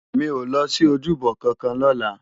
Mi ó lòsi ójúbò kànkàn lòlá